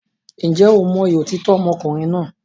Ǹjẹ́ o mọyì òtítọ́ ọmọkùnrin náà?